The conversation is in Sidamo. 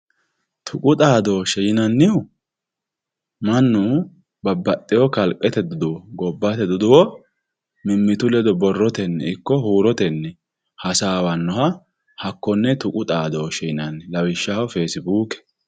tuqu xaadooshe yinannihu mannu babbaxewo kalqete gobbate duduwo mimitu ledo borrotenni ikko huurotenni hasaawanoha hakkonne tuqu xaadooshe yinanni lawishshaho fesibuuke.